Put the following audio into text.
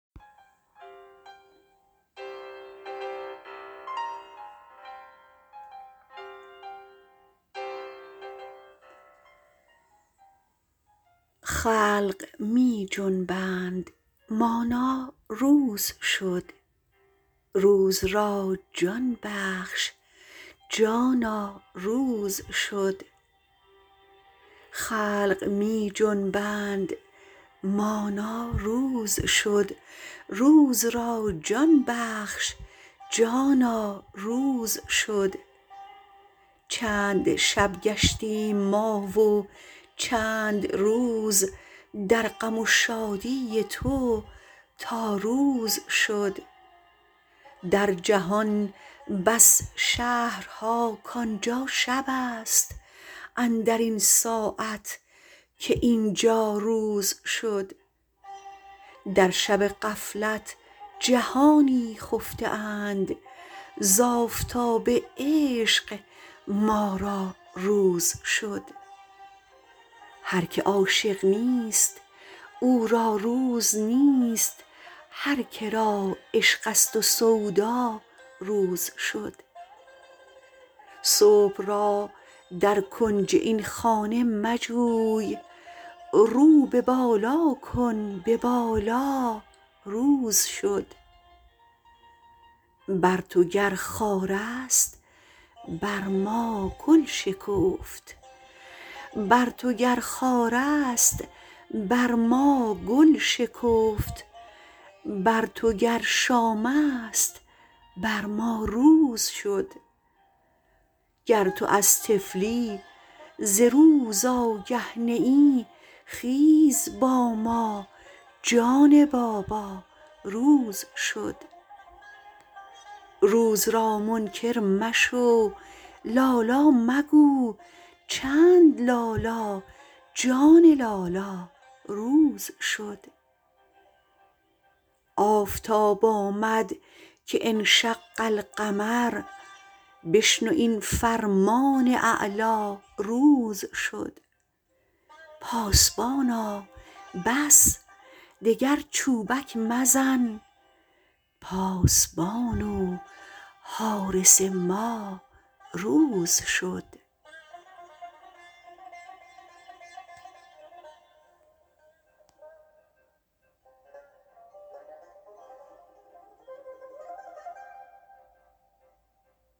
خلق می جنبند مانا روز شد روز را جان بخش جانا روز شد چند شب گشتیم ما و چند روز در غم و شادی تو تا روز شد در جهان بس شهرها کان جا شبست اندر این ساعت که این جا روز شد در شب غفلت جهانی خفته اند ز آفتاب عشق ما را روز شد هر که عاشق نیست او را روز نیست هر که را عشقست و سودا روز شد صبح را در کنج این خانه مجوی رو به بالا کن به بالا روز شد بر تو گر خارست بر ما گل شکفت بر تو گر شامست بر ما روز شد گر تو از طفلی ز روز آگه نه ای خیز با ما جان بابا روز شد روز را منکر مشو لا لا مگو چند لا لا جان لالا روز شد آفتاب آمد که انشق القمر بشنو این فرمان اعلا روز شد پاسبانا بس دگر چوبک مزن پاسبان و حارس ما روز شد